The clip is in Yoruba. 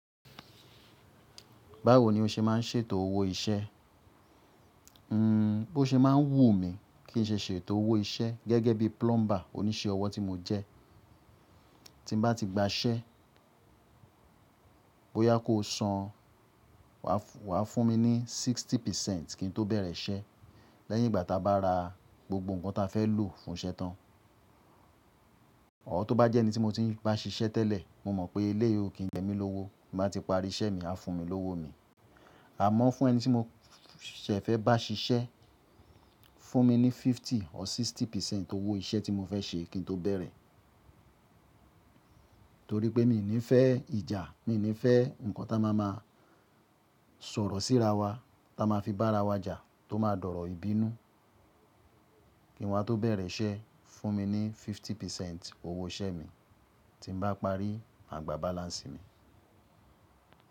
Báwo ni o ṣe má n ṣètò owó iṣẹ́? Hmm, bó ṣe má n wù mí kín ṣe ṣètò owó iṣẹ́ gẹ́gẹ́ bí plumber, òníṣẹ́ ọwọ́ tí mo jẹ. Tín bá ti gba iṣẹ́, bóyá kó san wà fún mi ní sixty percent kín tó bẹ̀rẹ̀ iṣẹ́ lẹ́yìn ìgbà táa bá ra gbogbo ǹkan ta fẹ́ lò fún iṣẹ́ tán. Or tó bá jẹ́ ẹni tí mo tiń bá ṣiṣẹ́ tẹ́lẹ̀, mo mọ̀ pé eleyii ò kín jẹ mí lówó, bí mo bá ti parí iṣẹ́ mi, á fún mi lówó mi. Àmọ́ fún ẹni tí mo ṣẹ̀ fẹ́ bá ṣiṣẹ́, fún mi ní fifty or sixty percent owó iṣẹ́ tí mo fẹ́ ṣe kín tó bẹ̀rẹ̀. Torí pé mi ò ní fẹ́ ìjà, mi ò ní fẹ́ ǹkan tá a máa máa sọ̀rọ̀ síra wa, tá a máa fi bá ara wa jà, tó máa dọ̀rọ̀ ìbínú, kín wa tó bẹ̀rẹ̀ iṣẹ́, fún mi ní fifty percent owó iṣẹ́ mi tí mo bá parí, màá gba balance mi.